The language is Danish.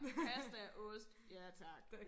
Pasta ost ja tak